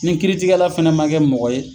Nin kiiritigɛla fɛnɛ ma kɛ mɔgɔ ye